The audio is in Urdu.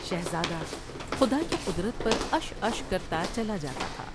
شہزادہ خدا کی قدرت پر عش عش کرتا چلا جاتا تھا ۔